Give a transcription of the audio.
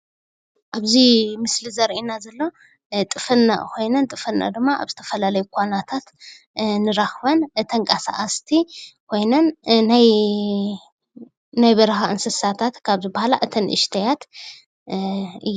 ኣብዚ ምስሊ ዘርእየና ዘሎ ጥፍንቅ ኮይነን ጥፍንቅ ድማ ኣብ ዝተፈላለዩ ኳናታት እንረኽበን ተንቀሳቐስቲ ኮይነን ናይ በረኻ እንስሳታት ካብ ዝብሃላ እተን ንእሽተያት እየን፡፡